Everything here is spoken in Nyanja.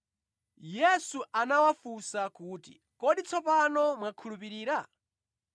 Yesu anawafunsa kuti, “Kodi tsopano mwakhulupirira?”